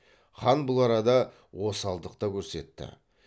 хан бұл арада осалдық та көрсетті